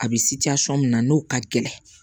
A bɛ min na n'o ka gɛlɛn